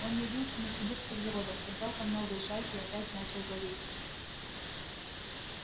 он явился на сибирских заводах собрал там новые шайки и опять начал злодействовать